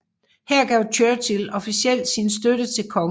Her gav Churchill officielt sin støtte til kongen